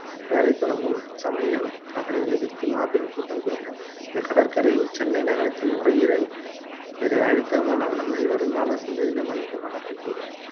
வேலை தொடங்கும் சமயம் அதனை எதிர்த்து மாபெரும் கூட்டம் கூட்டினார் இந்தக் கடற்கரை சென்னை நகரத்தின் நுரையீரல் இதை அழித்தோமானால் நம்மை வருங்கால சந்தியினர் மன்னிக்க மாட்டார்கள் என்று கூறினார்